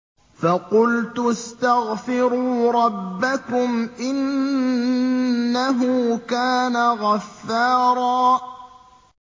فَقُلْتُ اسْتَغْفِرُوا رَبَّكُمْ إِنَّهُ كَانَ غَفَّارًا